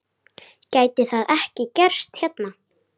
Gæti það ekki gerst hérna?